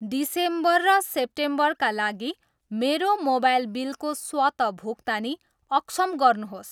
December र सेप्टेम्बरका लागि मेरो मोबाइल बिलको स्वत भुक्तानी अक्षम गर्नुहोस्।